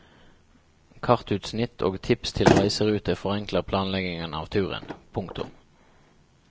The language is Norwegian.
Kartutsnitt og tips til reiserute forenkler planleggingen av turen. punktum